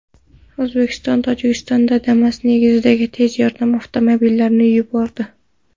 O‘zbekiston Tojikistonga Damas negizidagi tez yordam avtomobillarini yubordi.